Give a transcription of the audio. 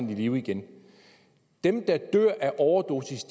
live igen dem der dør af overdosis